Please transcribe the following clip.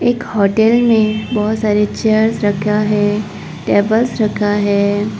एक होटल में बहुत सारी चेयर्स रखा है टेबल्स रखा है।